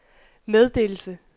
meddelelse